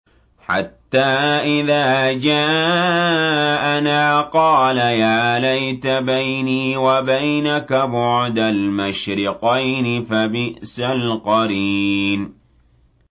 حَتَّىٰ إِذَا جَاءَنَا قَالَ يَا لَيْتَ بَيْنِي وَبَيْنَكَ بُعْدَ الْمَشْرِقَيْنِ فَبِئْسَ الْقَرِينُ